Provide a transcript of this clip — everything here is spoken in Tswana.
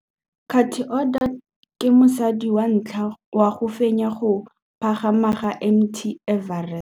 Cathy Odowd ke mosadi wa ntlha wa go fenya go pagama ga Mt Everest.